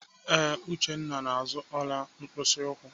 Ee, Uchenna na-azụ ọla mkpịsị ụkwụ.